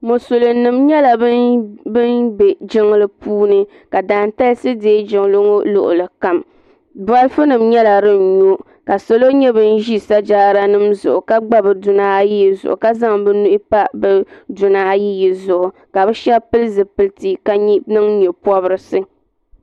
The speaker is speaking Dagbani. Musulin nima nyɛla bin be jiŋli puuni ka daantalisi dee jiŋli ŋɔ luɣuli kam bolifu nima nyɛla din nyo ka salo nyɛ bin ʒi sajaada nima zuɣu ka gba bɛ duna ayiyi zuɣu ka zaŋ bɛ nuhi pa bɛ duni ayiyi zuɣu ka bɛ sheba pili zipilti ka niŋ nyɛpobrisi .